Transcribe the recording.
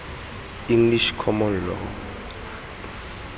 english common law